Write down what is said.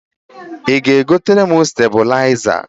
Ị ga-egotere m stabịlaịzer?